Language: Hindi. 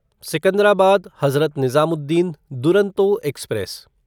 सिकंदराबाद हज़रत निज़ामुद्दीन दुरंतो एक्सप्रेस